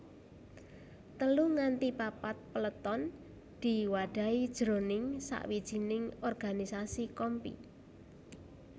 Telu nganti papat peleton diwadhahi jroning sawijining organisasi kompi